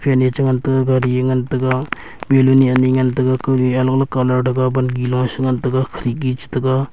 fan e chengan taiga ghari e ngan taiga beloon ne ani ngan taiga kawli alag alag colour thaga bangi lash ngan taga khidki chetaga.